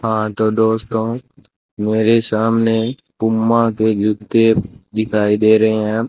हां तो दोस्तों मेरे सामने पूमा के जूते दिखाई दे रहे हैं।